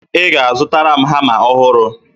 Ị ga-azụtara m hama ọhụrụ